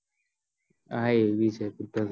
હા એ બી છે